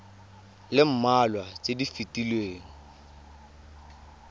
le mmalwa tse di fetileng